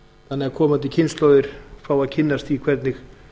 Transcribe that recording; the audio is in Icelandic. þannig að komandi kynslóðir fái að kynnast því hvernig